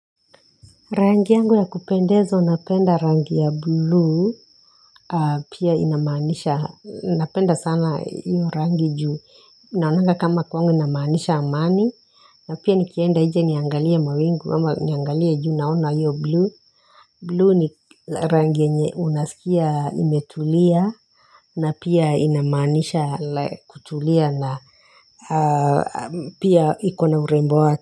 Rangi yangu ya kupendezo, napenda rangi ya blue, pia inamaanisha, napenda sana hiyo rangi juu, naonanga kama kwangu inamanisha amani, na pia nikienda nje niangalia mawingu, ama niangalia juu naona yu blue, blue ni rangi yenye unasikia imetulia, na pia inamaanisha kutulia na pia ikona urembo.